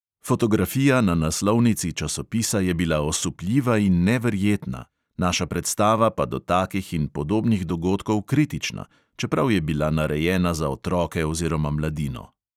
Fotografija na naslovnici časopisa je bila osupljiva in neverjetna, naša predstava pa do takih in podobnih dogodkov kritična, čeprav je bila narejena za otroke oziroma mladino.